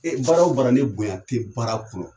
Baara o baara ne bonya tɛ baara kɔnɔ